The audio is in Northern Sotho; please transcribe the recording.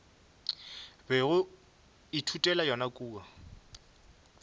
bego o ithutela yona kua